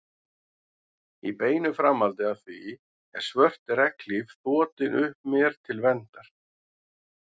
Í beinu framhaldi af því er svört regnhlíf þotin upp mér til verndar.